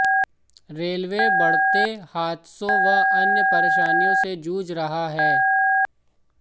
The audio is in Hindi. रेलवे बढ़ते हादसों व अन्य परेशानियों से जूझ रहा है